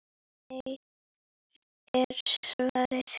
Nei er svarið.